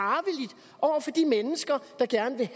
og for de mennesker der gerne vil